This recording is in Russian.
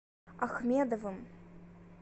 ахмедовым